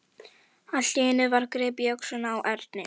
Allt í einu var gripið í öxlina á Erni.